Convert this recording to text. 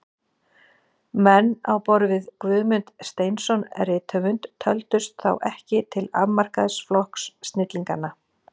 Menn á borð við Guðmund Steinsson rithöfund töldust þá ekki til afmarkaðs flokks snillinganna.